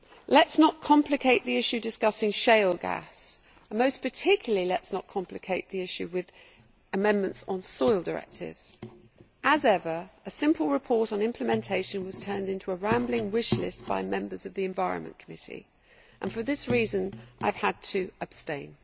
Let us not complicate the issue discussing shale gas and most particularly let us not complicate the issue with amendments on soil directives. As ever, a simple report on implementation was turned into a rambling wish list by Members of the Committee on the Environment Public Health and Food Safety and for this reason I have had to abstain.